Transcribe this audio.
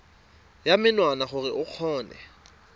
ya menwana gore o kgone